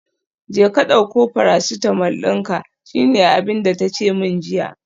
Jeka dauko paracetamol dinka, shine abinda tace min jiya